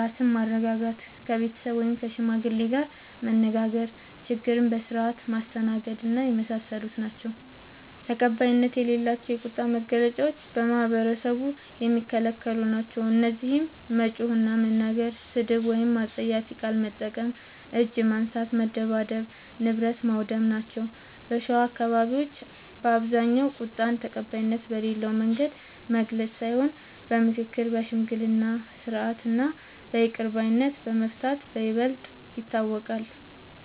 ራስን ማረጋጋት፣ ከቤተሰብ ወይም ከሽማግሌ ጋር መነጋገር፣ ችግርን በስርዓት ማስተናገድና የመሳሰሉት ናቸዉ። ፪. ተቀባይነት የሌላቸው የቁጣ መግለጫዎች በማህበረሰቡ የሚከለክሉ ናቸዉ። እነዚህም መጮህ እና መናገር፣ ስድብ ወይም አስጸያፊ ቃላት መጠቀም፣ እጅ ማንሳት (መደብደብ/መግጠም) ፣ ንብረት ማዉደም ናቸዉ። በሸዋ አካባቢዎች በአብዛኛዉ ቁጣን ተቀባይነት በሌለዉ መንገድ መግለጽ ሳይሆን በምክክር፣ በሽምግልና ስርዓት እና በይቅር ባይነት በመፍታት ይበልጥ ይታወቃል።